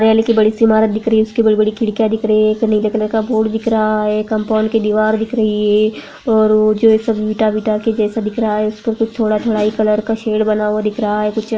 Rail की उसकी ईमारत दिख रही है उसकी बड़ी बड़ी खिड़किया दिख रही है नीले कलर का बोर्ड दिख रहा है कंपाउंड की दीवार दिख रही है और ईटा वीटा के जैसा दिख रहा है दिख रहा है।